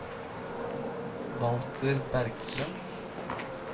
Walter Bergstrøm